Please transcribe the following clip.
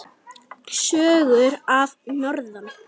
Sögur að norðan.